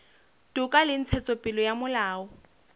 toka le ntshetsopele ya molao